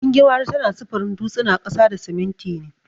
Gingimari tana sufurin dutsina, ƙasa da siminti ne.